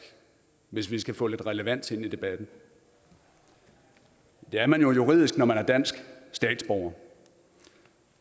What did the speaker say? hvis vi skal få lidt relevans ind i debatten det er man jo juridisk når man er dansk statsborger